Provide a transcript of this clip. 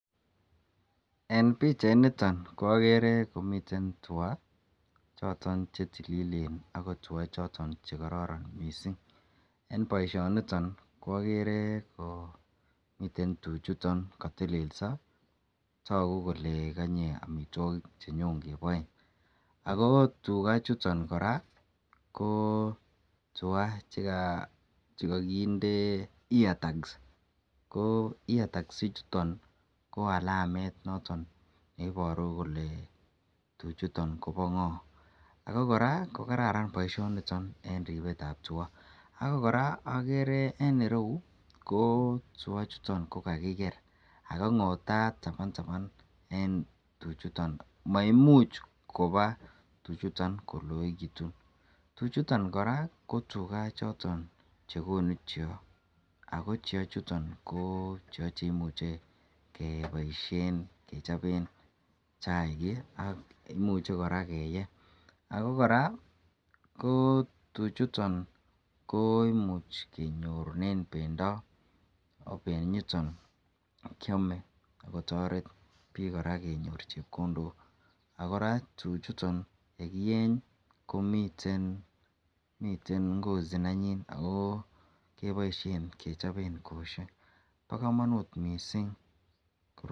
een pichait niton ko ogere komiten tuuga choton chetililen agoo tuua choton chegororon mising, en boishoniton ko ogeree komiten tuuchuton kotelso toguu kole konyee omitwogik chenyoon keboee, ago tugaa chuton koraa koo tugaa chegogindee ear tags ko ear tags ichuton koalameet noton neiboruu kole tuchuton koobo ngoo, ago koraa kogararan boishoniton en ribeet ab tuuga ago koraa ogere en ireuu ko tuuga chuton ko kagigeer ago ngotaat tabantaban en tuchuton, maimuuch koba tuchuton koloegitun, tuchuton koraa ko tuuga choton chegonu chego, ago cheeo chuton ko chego cheimuche keboishen kechobeen chaiik iih ak imuche koraa keyee, ago koraa tuchuton ko imuuch kenyoruren bendo oh benyiton kyomee kotoreet biik koraa kenyoor chepkondook, ooh koraa tuchuton yegieny komiten ngozi nenyiin agoo keboishen kechobeen kosyeek bo komonuut mising.